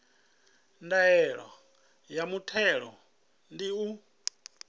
ndaela ya muthelo ndi u